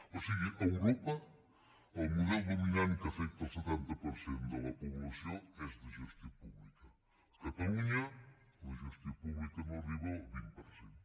o sigui a europa el model dominant que afecta el setanta per cent de la població és de gestió pública a catalunya la gestió pública no arriba al vint per cent